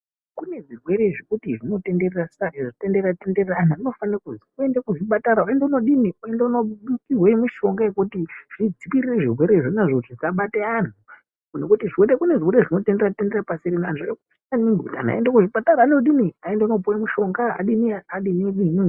Kune zvirwere zvekuti zvinotenderera saka kana zvichitenderera tenderera anhu anofanire kuenda kuzvipatara oenda kundodini oende kundopiwe mushonga yekuti zvikwirire zvirwere izvonazvo zvisabate anhu nekuti kune zvirwere zvinotenderera tenderera pasi rino antu anofanire kuende kuchipatara andopiwe mushonga adini adini adini